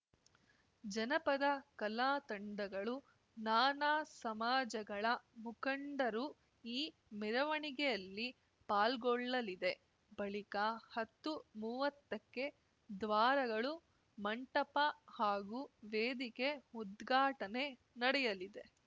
ಜನಪದ ಕಲಾ ತಂಡಗಳು ನಾನಾ ಸಮಾಜಗಳ ಮುಖಂಡರು ಈ ಮೆರವಣಿಗೆಯಲ್ಲಿ ಪಾಲ್ಗೊಳ್ಳಲಿದೆ ಬಳಿಕ ಹತ್ತು ಮುವತ್ತ ಕ್ಕೆ ದ್ವಾರಗಳು ಮಂಟಪ ಹಾಗೂ ವೇದಿಕೆ ಉದ್ಘಾಟನೆ ನಡೆಯಲಿದೆ